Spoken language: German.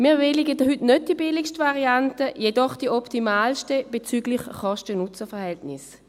Wir bewilligen heute nicht die billigste Variante, jedoch die optimalste bezüglich Kosten-Nutzen-Verhältnis.